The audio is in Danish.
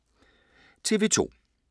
TV 2